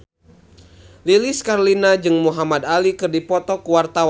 Lilis Karlina jeung Muhamad Ali keur dipoto ku wartawan